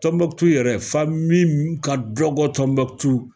Tɔnbɔkutu yɛrɛ, famin minu ka dɔgɔ Tɔnbɔkutu